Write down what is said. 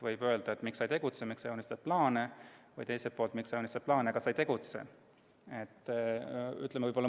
Võib öelda, et miks sa ei tegutse, miks sa joonistad plaane, aga teiselt poolt võib jälle öelda, et miks sa ei joonista plaane, vaid tegutsed.